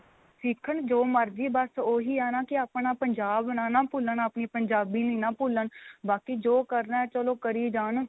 ਸਿੱਖਣ ਜੋ ਮਰਜੀ ਬੱਸ ਉਹੀ ਆ ਨਾ ਕੀ ਆਪਣਾ ਪੰਜਾਬ ਨਾ ਨਾ ਭੁੱਲਣ ਆਪਣੀ ਪੰਜਾਬੀ ਨੀ ਨਾ ਭੁੱਲਣ ਬਾਕੀ ਜੋ ਕਰਨਾ ਚਲੋ ਕਰੀ ਜਾਣ